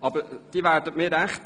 Aber Sie werden mir Recht geben: